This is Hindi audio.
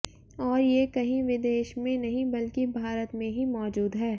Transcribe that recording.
और ये कहीं विदेश में नहीं बल्कि भारत में ही मौजूद है